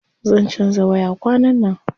Zan canza waya kwanan nan.